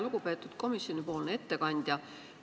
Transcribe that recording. Lugupeetud komisjoni ettekandja!